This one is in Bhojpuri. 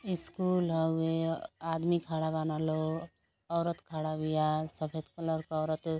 इस्कुल हउवे। आदमी खड़ा बान लोग। औरत खड़ा बिया। सफ़ेद कलर क औरत --